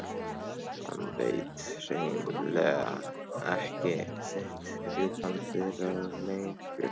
Hann veit hrein- lega ekki sitt rjúkandi ráð lengur.